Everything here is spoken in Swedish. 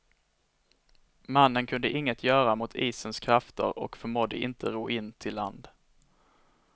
Mannen kunde inget göra mot isens krafter och förmådde inte ro in till land.